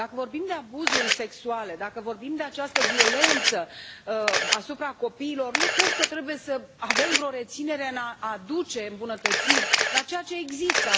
Dacă vorbim de abuzuri sexuale, dacă vorbim de această violență asupra copiilor, nu cred că trebuie să avem vreo reținere în a aduce îmbunătățiri la ceea ce există.